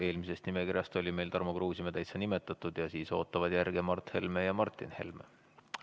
Eelmisest nimekirjast sai Tarmo Kruusimäe nimetatud ning järge ootavad Mart Helme ja Martin Helme.